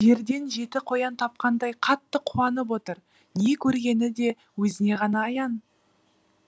жерден жеті қоян тапқандай қатты қуанып отыр не көргені де өзіне ғана аян